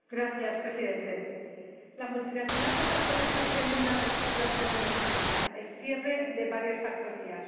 Señor Presidente, la multinacional Coca Cola está haciendo una reestructuración en España cierre de varias factorías.